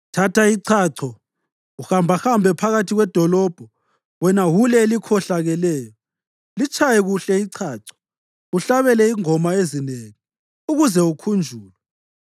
“Thatha ichacho, uhambahambe phakathi kwedolobho wena wule elikhohlakeleyo. Litshaye kuhle ichacho, uhlabele izingoma ezinengi, ukuze ukhunjulwe.”